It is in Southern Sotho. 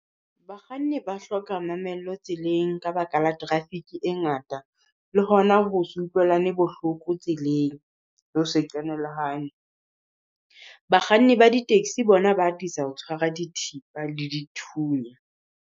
Bakganni ba hloka mamello tseleng ka baka la traffic e ngata. Le ho na ho se utlwelane bohloko tseleng. Le ho se qenehelane. Bakganni ba di taxi bona ba atisa ho tshwara dithipa le dithunya.